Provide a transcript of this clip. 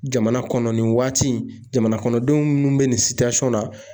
Jamana kɔnɔ nin waati jamanakɔnɔdenw minnu bɛ nin na